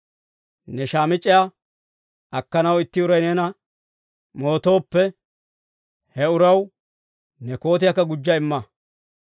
ne shaamic'c'iyaa akkanaw itti uray neena mootooppe, he uraw ne kootiyaakka gujja imma.